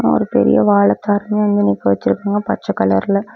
ஒரு பெரிய வாழ தாருங்க அங்க நிக்க வெச்சிருக்காங்க பச்ச கலர்ல .